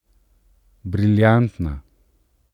Briljantna.